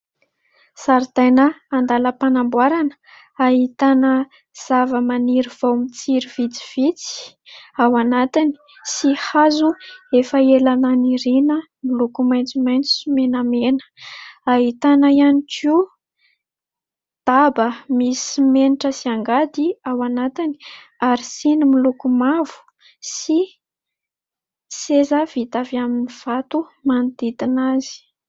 Zaridaina andalam-panamboarana ahitana zava-maniry vao mitsiry vitsivitsy ao anatiny sy hazo efa ela naniriana , miloko maitsomaitso sy menamena . Ahitana ihany koa daba misy simenitra sy angady ao anatiny ary siny miloko mavo sy seza vita avy amin'ny vato manodidina azy .